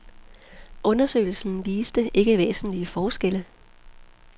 Undersøgelsen viste ikke væsentlige forskelle.